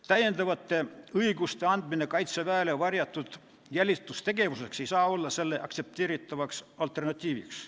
Täiendavate õiguste andmine Kaitseväele varjatud jälitustegevuseks ei saa olla selle aktsepteeritavaks alternatiiviks.